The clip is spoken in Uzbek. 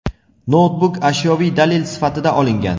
noutbuk ashyoviy dalil sifatida olingan.